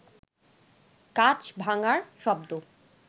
কাঁচ ভাঙার শব্দ